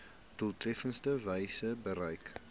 doeltreffendste wyse bereik